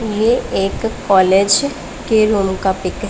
ये एक कॉलेज के रूम का पिक --